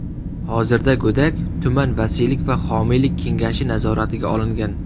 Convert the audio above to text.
Hozirda go‘dak tuman vasiylik va homiylik kengashi nazoratiga olingan.